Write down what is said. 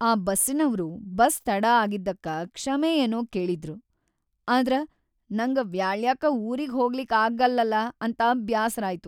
ಆ ಬಸ್ಸಿನವ್ರು ಬಸ್‌ ತಡಾ ಆಗಿದ್ದಕ್ಕ ಕ್ಷಮೆ ಏನೋ ಕೇಳಿದ್ರು, ಆದ್ರ ನಂಗ ವ್ಯಾಳ್ಯಾಕ್ಕ ಊರಿಗ್ ಹೋಗಲಿಕ್‌ ಆಗಲ್ಲಲ ಅಂತ ಬ್ಯಾಸರಾಯ್ತು.